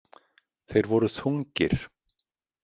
Þeir voru þungir.